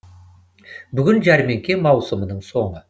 бүгін жәрмеңке маусымының соңы